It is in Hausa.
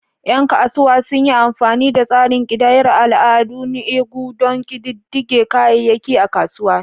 Yan kasuwa sun yi amfani da tsarin ƙidayar al'ada, "nnu ego," don ƙididdige kayayyaki a kasuwa.